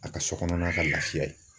A ka so kɔnɔma ka lafiya ye.